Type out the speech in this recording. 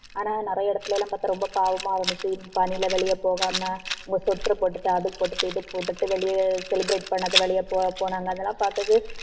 ஆனா நிறைய இடத்துல எல்லாம் பாத்தா ரொம்ப பாவமா இருந்துச்சு. பனியில வெளிய போகாம உள்ள sweater போட்டுட்டு அது போட்டுட்டு இது போட்டுட்டு வெளிய celebrate பண்ணது வெளிய போனாங்க. அதெல்லாம் பார்த்தது